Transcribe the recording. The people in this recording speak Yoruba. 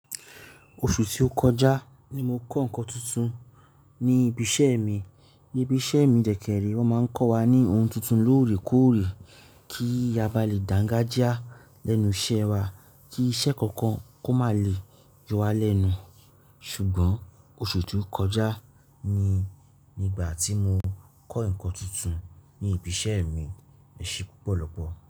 Oṣù tí ó kọjá ni mo kọ́ nǹkan tuntun ní ibi iṣẹ́ mi. Ní ibi iṣẹ́ mi dẹ̀ kẹ̀ rèé wọ́n máa ń kọ́ wa ní ohun tuntun lóòrèkóòrè kí a bá lè dàǹga já lẹ́nu iṣẹ́ wa, kí iṣẹ́ kankan kó má lè yọ wa lẹ́nu. Ṣùgbọ́n oṣù tí ó kọjá ni nígbà tí mo kọ́ nǹkan tuntun ní ibi iṣẹ́ mi, èṣì púpọ̀ lọpọ̀.